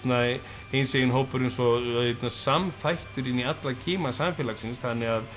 hinsegin hópurinn svo samþættur inn í alla kima samfélagsins þannig að